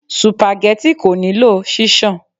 Supageti kò nílò ṣíṣan.